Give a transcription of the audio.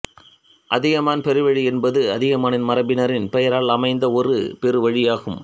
அதியமான் பெருவழி என்பது அதியமான் மரபினரின் பெயரால் அமைந்த ஒரு பெருவழியாகும்